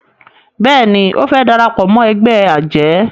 béèni o fè darapọ̀ mọ́ ègbé ajé